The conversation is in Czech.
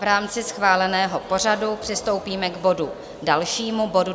V rámci schváleného pořadu přistoupíme k bodu dalšímu, bodu